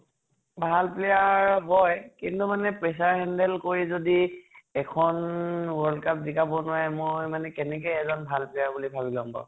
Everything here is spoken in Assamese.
ভাল player হয় । কিন্তু pressure handle কৰি যদি এখন world cup জিকাব নোৱাৰে মই মানে কেনেকে এজন ভাল player বুলি ভাবি লʼম বাৰু ?